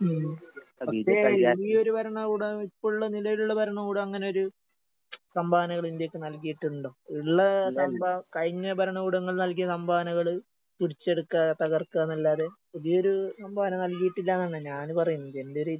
ഉം. പക്ഷെ ഈയൊര് ഭരണകൂടം ഇപ്പുള്ള നിലേലുള്ള ഭരണകൂടം അങ്ങനെയൊരു സംഭാവനകള് ഇന്ത്യക്ക് നൽകിയിട്ടുണ്ടോ? ഇള്ള സംഭ കഴിഞ്ഞ ഭരണകൂടങ്ങൾ നൽകിയ സംഭാവനകള് പിടിച്ചെടുക്കാ തർക്കാന്നല്ലാതെ പുതിയൊരു സംഭാവന നല്കിയിട്ടില്ലാന്നാണ് ഞാന് പറയുന്നത് എന്റെയൊരിത്.